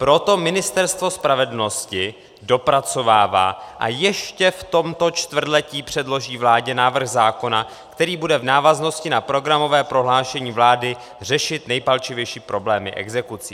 Proto Ministerstvo spravedlnosti dopracovává a ještě v tomto čtvrtletí předloží vládě návrh zákona, který bude v návaznosti na programové prohlášení vlády řešit nejpalčivější problémy exekucí.